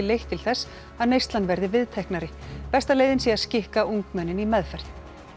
leitt til þess að neyslan verði viðteknari besta leiðin sé að skikka ungmennin í meðferð